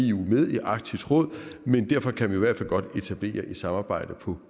eu med i arktisk råd men derfor kan vi i hvert fald godt etablere et samarbejde på